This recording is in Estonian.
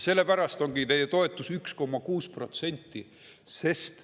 Sellepärast ongi teie toetus 1,6%.